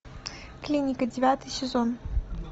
клиника девятый сезон